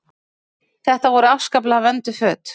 Þetta voru afskaplega vönduð föt.